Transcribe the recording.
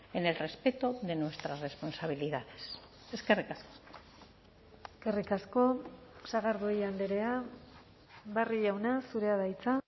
en el respeto de nuestras responsabilidades eskerrik asko eskerrik asko sagardui andrea barrio jauna zurea da hitza